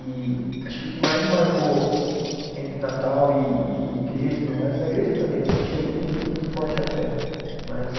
E acho que o que mais me marcou entre Natal e igreja e tudo mais, na igreja também eu sentia muito muito forte a fé, mas a